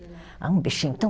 Ah, um bichinho tão